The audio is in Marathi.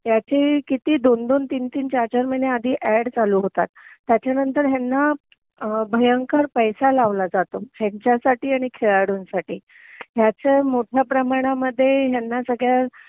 ह्याची किती दोन दोन तीन तीन चार चार महिन्याआधी ऍड चालू होतात त्याच्यानंतर ह्यांना भयंकर पैसे लावला जातो ह्यांच्यासाठी आणि खेळाडूंसाठी ह्याचे मोठ्या प्रमाणामध्ये ह्यांना सगळ्या ह्या